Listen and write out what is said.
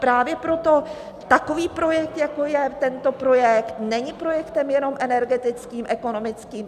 Právě proto takový projekt, jako je tento projekt, není projektem jenom energetickým, ekonomickým.